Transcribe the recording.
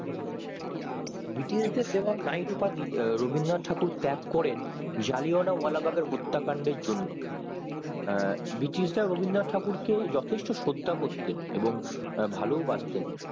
ব্রিটিশেরদের দেওয়া knight উপাধি রবীন্দ্রনাথ ঠাকুর ত্যাগ করেন জালিয়ানবাগের হত্যা কাণ্ডের জন্য আঃ ব্রিটিশ রা রবীন্দ্রনাথ ঠাকুরকে যথেষ্ট শ্রদ্ধা করতোন এবং ভালো ও বাসতেন